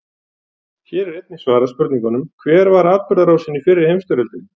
Hér er einnig svarað spurningunum: Hver var atburðarásin í fyrri heimsstyrjöldinni?